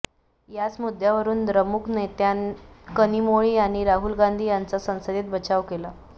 याच मुद्द्यावरून द्रमुक नेत्या कनिमोळी यांनी राहुल गांधी यांचा संसदेत बचाव केला